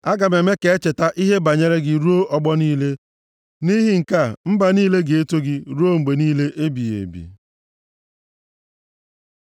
Aga m eme ka echeta ihe banyere gị ruo ọgbọ niile; nʼihi nke a, mba niile ga-eto gị ruo mgbe niile ebighị ebi.